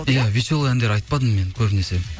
иә веселый әндер айтпадым мен көбінесе